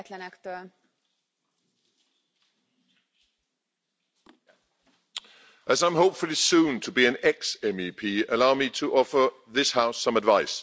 Madam President, as I'm hopefully soon to be an ex-MEP, allow me to offer this House some advice.